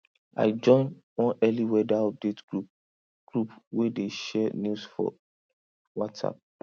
i join one early weather update group group wey dey share news for whatsapp